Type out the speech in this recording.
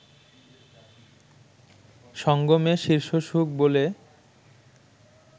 সঙ্গমে শীর্ষসুখ বলে